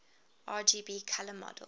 rgb color model